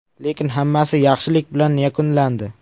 Lekin hammasi yaxshilik bilan yakunlandi.